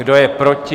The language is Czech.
Kdo je proti?